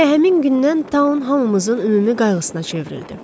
Elə həmin gündən Town hamımızın ümumi qayğısına çevrildi.